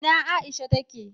ina Aisha ta ke?